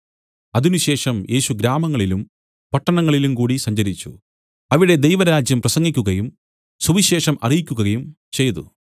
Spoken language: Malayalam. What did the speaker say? അതിനുശേഷം യേശു ഗ്രാമങ്ങളിലും പട്ടണങ്ങളിലും കൂടി സഞ്ചരിച്ചു അവിടെ ദൈവരാജ്യം പ്രസംഗിക്കുകയും സുവിശേഷം അറിയിക്കുകയും ചെയ്തു